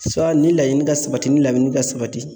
ni laɲini ka sabati ni laɲini ka sabati